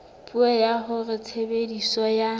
puo ya hore tshebediso ya